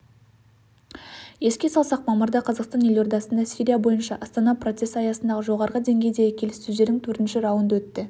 еске салсақ мамырда қазақстан елордасында сирия бойынша астана процесі аясындағы жоғарғы деңгейдегі келіссөздердің төртінші раунды өтті